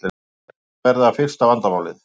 Leikmennirnir verða fyrsta vandamálið